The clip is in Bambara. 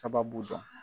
Sababu dɔ